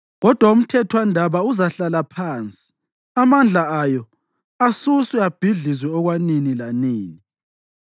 Kodwa umthethwandaba uzahlala phansi, amandla ayo asuswe abhidlizwe okwanini lanini.